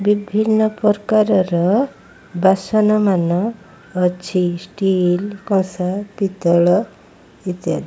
ବିଭିନ୍ନ ପ୍ରକାରର ବାସନ ମାନ ଅଛି ଷ୍ଟିଲ କଂସା ପିତ୍ତଳ ଇତ୍ୟା --